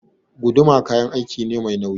Guduma kayan aiki ne mai nauyi.